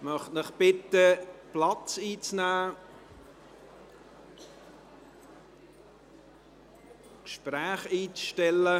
Ich möchte Sie bitten, Platz zu nehmen und die Gespräche einzustellen.